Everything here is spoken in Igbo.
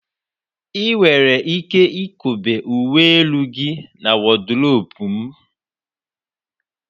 Ị nwere ike ikobe uwe elu gị na wọdrobu m